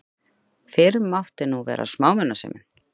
Fyrr mátti nú vera smámunasemin!